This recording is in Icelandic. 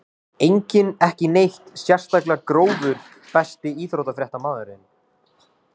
Enginn ekki neitt sérstaklega grófur Besti íþróttafréttamaðurinn?